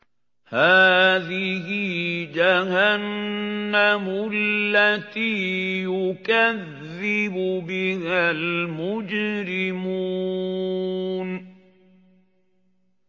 هَٰذِهِ جَهَنَّمُ الَّتِي يُكَذِّبُ بِهَا الْمُجْرِمُونَ